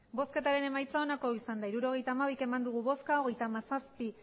hirurogeita hamabi eman dugu bozka hogeita hamazazpi